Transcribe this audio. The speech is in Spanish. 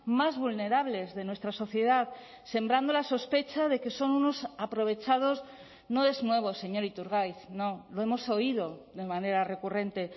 más vulnerables de nuestra sociedad sembrando la sospecha de que son unos aprovechados no es nuevo señor iturgaiz no lo hemos oído de manera recurrente